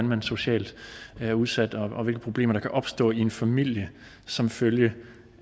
man socialt er udsat og hvilke problemer der kan opstå i en familie som følge